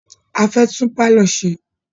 A fẹ́ tún pálọ̀ ṣe.